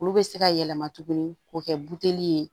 Olu bɛ se ka yɛlɛma tuguni k'o kɛ buteli ye